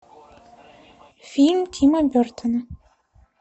фильм тима бертона